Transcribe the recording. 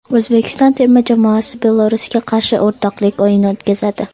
O‘zbekiston terma jamoasi Belarusga qarshi o‘rtoqlik o‘yini o‘tkazadi.